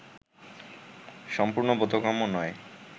সম্পূর্ণ বোধগম্য নয়